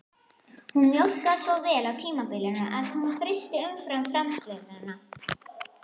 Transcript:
Hún mjólkaði svo vel á tímabili að hún frysti umfram-framleiðsluna